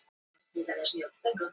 Þú hefur fengið fréttirnar?